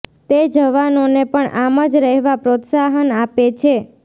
તે જવાનોને પણ આમ જ રહેવા પ્રોત્સાહન આપે છે